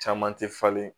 Caman tɛ falen